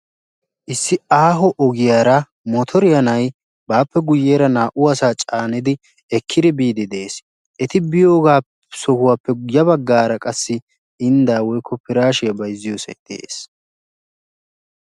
issi aaho ogiyara motoriya laagiya na'ay baappe guyeera naa'u asaa caanidi ekkidi biidi des. eti biyo sohuwara piraashiyaa bayzziyo sohoy de'ees.